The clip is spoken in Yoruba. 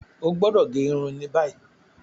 O gbọdọ ge irun ni bayi.